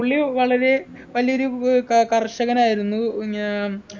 പുള്ളി വളരെ വലിയൊരു ഏർ ക കർഷകനായിരുന്നു ഞാ